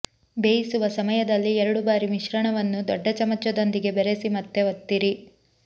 ಬೇಯಿಸುವ ಸಮಯದಲ್ಲಿ ಎರಡು ಬಾರಿ ಮಿಶ್ರಣವನ್ನು ದೊಡ್ಡ ಚಮಚದೊಂದಿಗೆ ಬೆರೆಸಿ ಮತ್ತೆ ಒತ್ತಿರಿ